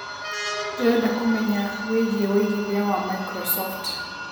ndĩreda kũmenya wĩigie wĩigĩthĩa wa Microsoft